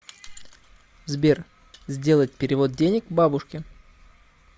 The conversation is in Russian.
сбер сделать перевод денег бабушке